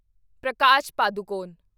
Prakash Padukone